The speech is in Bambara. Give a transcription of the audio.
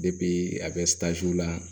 a bɛ la